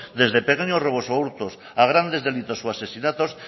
desde pequeños robos o hurtos a grandes delitos o asesinatos